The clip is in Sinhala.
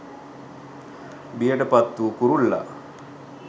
බියට පත් වූ කුරුල්ලා